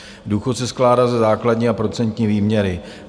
Důchod se skládá ze základní a procentní výměry.